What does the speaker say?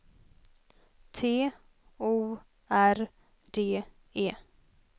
T O R D E